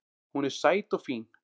Hún er sæt og fín